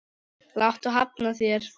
Láttu hafna þér.